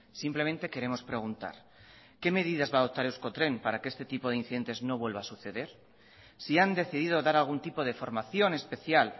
simplemente queremos preguntar qué medidas va a adoptar euskotren para que este tipo de incidentes no vuelva a suceder si han decidido dar algún tipo de formación especial